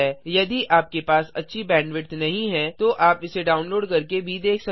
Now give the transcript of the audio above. यदि आपके पास अच्छी बैंडविड्थ नहीं है तो आप इसे डाउनलोड करके भी देख सकते हैं